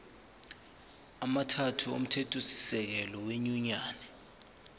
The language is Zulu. amathathu omthethosisekelo wenyunyane